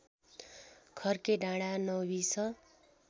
खर्के डाँडा नौबिस